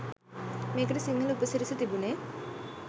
මේකට සිංහල උපසිරැසි තිබුනේ